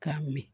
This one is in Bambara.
K'a min